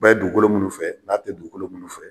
Bɛ dugukolo mun fɛ an'a te dugukolo mu fɛ